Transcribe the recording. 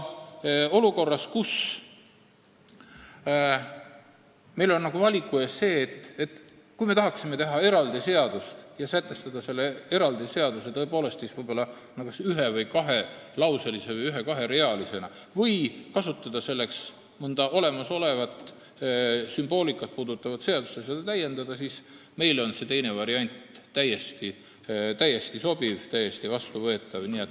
Olukorras, kus meie ees on valik, kas me tahame teha eraldi seadust ja sätestada selle eraldi seaduse, ma ei tea, kas ühe- või kahelauselisena või ühe- või kaherealisena, või tahame kasutada mõnda olemasolevat sümboolikat käsitlevat seadust ja seda täiendada, on meile see teine variant täiesti sobiv, vastuvõetav.